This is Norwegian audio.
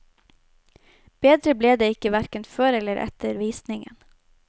Bedre ble det ikke hverken før eller etter visningen.